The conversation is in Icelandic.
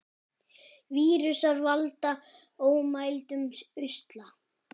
Vírusar valda ómældum usla.